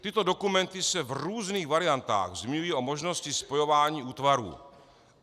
Tyto dokumenty se v různých variantách zmiňují o možnosti spojování útvarů.